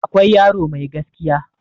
akwai yaro Mai gaskiya